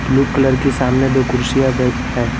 Blue colour के सामने दो कुर्सियां बै है।